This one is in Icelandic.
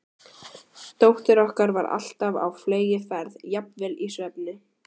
Dóttir okkar var alltaf á fleygiferð, jafnvel í svefni.